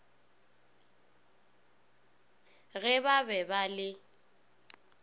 ge ba be ba le